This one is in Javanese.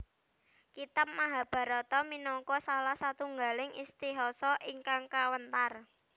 Kitab Mahabharata minangka salah satunggaling Itihasa ingkang kawentar